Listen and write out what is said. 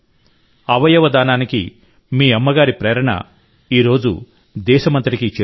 అవయవదానానికి మీ అమ్మ ప్రేరణ ఈరోజు దేశమంతటికీ చేరుతోంది